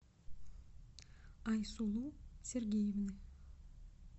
айсулу сергеевны